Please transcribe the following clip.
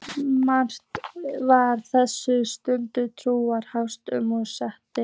Mest var þetta stam, tuldur og hálfsagðar setningar.